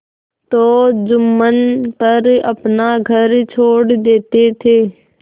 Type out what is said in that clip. तो जुम्मन पर अपना घर छोड़ देते थे